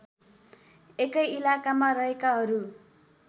एकै इलाकामा रहेकाहरू